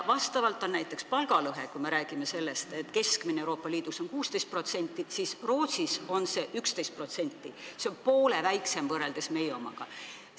Ja kui me räägime sellest, et keskmine palgalõhe Euroopa Liidus on 16%, siis Rootsis on see 11% – poole väiksem võrreldes meie omaga.